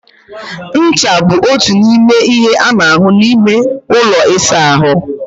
Ncha bụ otu n'ime ihe a na-ahụ n'ime ụlọ ịsa ahụ.